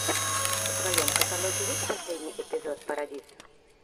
в твоем каталоге есть последний эпизод парадиз